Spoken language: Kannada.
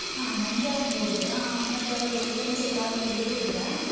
ಹ ನಂಗೆ ಆಗ್ಬೋದು ಆ ಮತ್ತೆ ಅವರು friends ಎಲ್ಲಾ ಆಗ್ಬೋದ್ ಹೇಳಿದ್ರ?